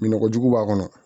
Lɔgɔ jugu b'a kɔnɔ